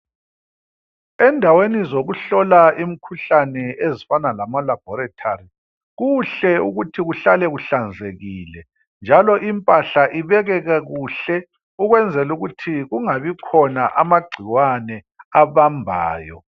Endaweni zokuhlola imikhuhlane ezifana lamalaboratory, kuhle ukuthi kuhlale kuhlanzekile njalo impahla ibekeke kuhle ukwenzela ukuthi kungabikhona amagcikwane abambayo.